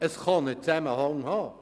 Es kann ein Zusammenhang bestehen.